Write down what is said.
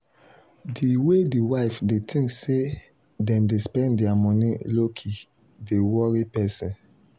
the way the wife they think say them dey spend their money lowkey dey worry person.